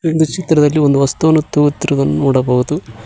ಈ ಒಂದು ಚಿತ್ರದಲ್ಲಿ ಒಂದು ವಸ್ತುವನ್ನು ತೂಗುತ್ತಿರುವುದನ್ನು ನೋಡಬಹುದು.